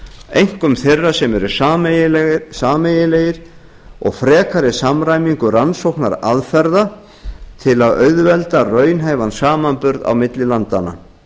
einkum þeirra sem eru sameiginlegir og frekari samræmingu rannsóknaraðferða til að auðvelda raunhæfan samanburð milli landanna